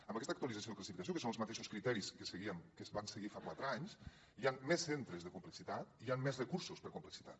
amb aquesta actualització de la classificació que hi insisteixo són els mateixos criteris que seguíem que es van seguir fa quatre anys hi ha més centres de complexitat hi han més recursos per complexitat